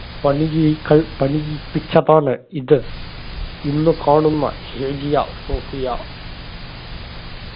പണിയികൾ പണിയിപ്പിച്ചതാണ് ഇത് ഇന്ന് കാണുന്ന ഹെജിയ സോഫിയ